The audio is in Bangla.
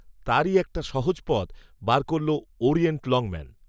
তারই একটা সহজ, পথ, বার করল, ওরিয়েন্ট, লংম্যান